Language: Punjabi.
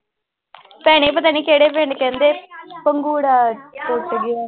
ਭੈਣੇ ਪਤਾ ਨੀ ਕਿਹੜੇ ਪਿੰਡ ਕਹਿੰਦੇ ਪੰਘੂੜਾ ਟੁੱਟ ਗਿਆ।